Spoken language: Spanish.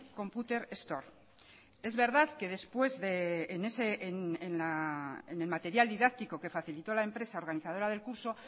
computer store es verdad que después en el material didáctico que facilitó la empresa organizadora del curso